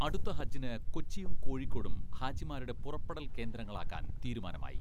അടുത്ത ഹജ്ജിന് കൊച്ചിയും, കോഴിക്കോടും ഹാജിമാരുടെ പുറപ്പെടൽ കേന്ദ്രങ്ങളാക്കാൻ തീരുമാനമായി.